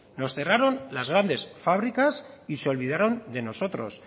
nos cerraron las grandes fábricas y se olvidaron de nosotros